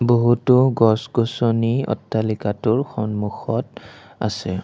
বহুতো গছ-গছনি অট্টালিকাটোৰ সন্মুখত আছে।